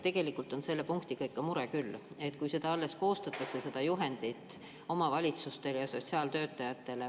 Tegelikult on selle punktiga ikka mure küll, kui alles koostatakse seda juhendit omavalitsustele ja sotsiaaltöötajatele.